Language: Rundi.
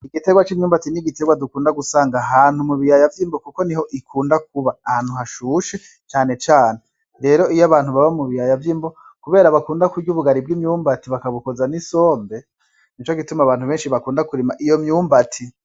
Igiterwa c'imyumbati n'igiterwa dukunda gusanga ahantu mu biyaya vy'imbo kuko niho ikunda kuba ahantu hashushe cane cane , rero iyo abantu baba mu biyaya vy'imbo kubera bakunda kurya ubugari bw'imyumbati bakabukoza n'isombe nico gituma Abantu bakunda kurima iyo myumbati.